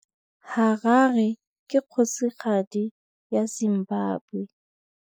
Harare ke kgosigadi ya Zimbabwe.